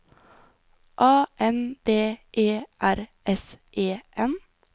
A N D E R S E N